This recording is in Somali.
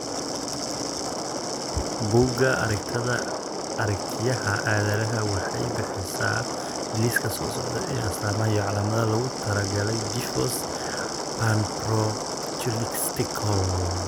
Bugga Aragtiyaha Aadanaha waxay bixisaa liiska soo socda ee astamaaha iyo calaamadaha loogu talagalay Diffus panbronchiolitislka.